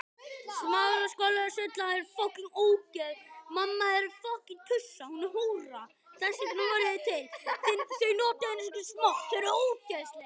Jú, heldur betur